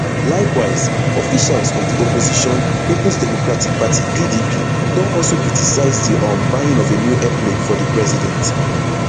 likewise officials of di opposition peoples democratic party pdp don also criticise di um buying of a new airplane for di president